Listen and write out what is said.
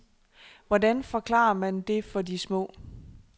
Hvordan forklarer man det for de små?